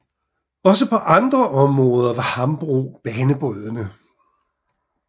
Også på andre områder var Hambro banebrydende